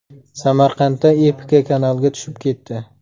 Samarqandda Epica kanalga tushib ketdi.